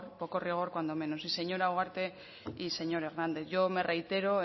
poco rigor cuando menos y señora ugarte y señor hernández yo me reitero